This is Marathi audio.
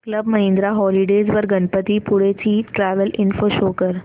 क्लब महिंद्रा हॉलिडेज वर गणपतीपुळे ची ट्रॅवल इन्फो शो कर